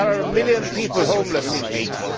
There are a million people homeless in Haiti